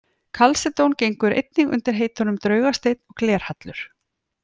Kalsedón gengur einnig undir heitunum draugasteinn og glerhallur.